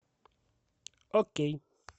окей